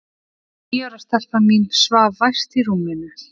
Og níu ára stelpan mín svaf vært í rúminu.